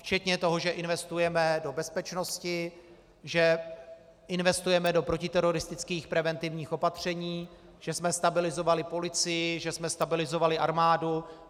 Včetně toho, že investujeme do bezpečnosti, že investujeme do protiteroristických preventivních opatření, že jsme stabilizovali policii, že jsme stabilizovali armádu.